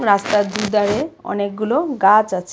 রাস্তার দুধারে অনেকগুলো গাছ আছে .